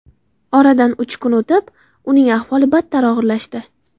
Oradan uch kun o‘tib, uning ahvoli battar og‘irlashdi.